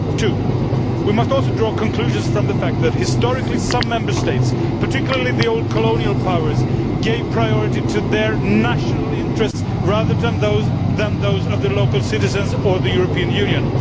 Two, we must also draw conclusions from the fact that historically some Member States, particularly the old colonial powers, gave priority to their national interests rather than those of the local citizens or the European Union.